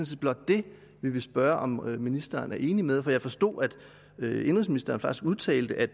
set blot det vi vil spørge om ministeren er enig med os i jeg forstod at indenrigsministeren faktisk udtalte at